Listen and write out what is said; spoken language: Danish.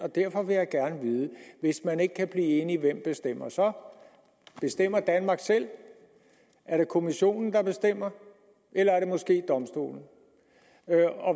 derfor vil jeg gerne vide hvis man ikke kan blive enige hvem bestemmer så bestemmer danmark selv er det kommissionen der bestemmer eller er det måske domstolen